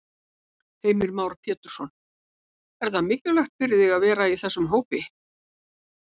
Heimir Már Pétursson: Er það mikilvægt fyrir þig að vera í þessum hópi?